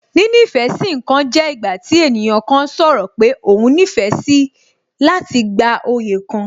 Níní ìfẹ́ sí ǹkan jẹ́ ìgbà tí ènìyàn kan sọ̀rọ̀ pé òhun nífẹ̀ẹ́ síi láti gba oyè kan